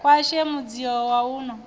khwashe mudzio wa u no